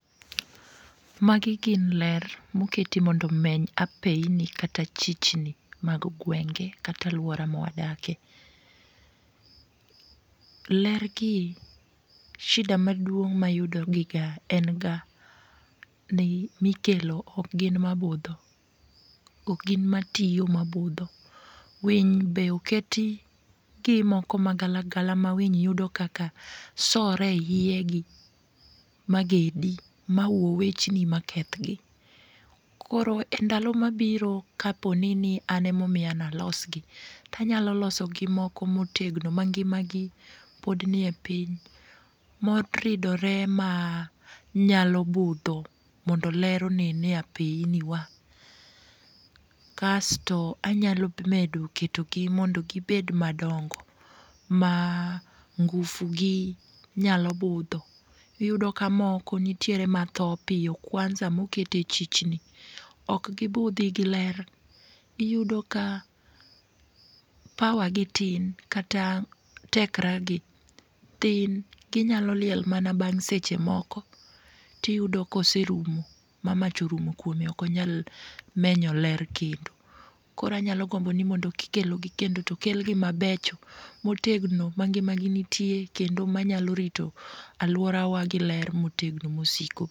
Magi gin ler moketi mondo omeny apeyini kata chichni mag gwenge kata aluora mawadakie. Ler gi shida maduong' mayudo giga en ga ni mikelo ok gin mabudho. Ok gin matiyo mabudho winy be oketi gi moko magala gala ma winy yudo kaka sore eiyegi magedi mawuo wechni ma kethgi, koro endalo mabiro ka poni an ema omiya ni alosgi, to anyalo losogi moko motegno mangima gi pod nie piny moridore manyalo budho mondo ler onen e apeyni wa kasto anyalo medo ketogi mondo gibed madongo ma ngufu gi nyalo budho. Iyudo ka moko nitiere ma tho piyo kwansa moket e chichni, ok gibudhi gi ler, iyudo ka power gi tin kata tekre gi tin ginyalo liel mana bang' seche moko to iyudomka oserumo ma mach orumo kuome maok onyal menyo ler kendo. Koro anyalo gombo ni mondo kikelo gi kendo to kel mabecho motegno mangima gi itie kendo manyalo rito aluorawa gi ler motegno mosiko.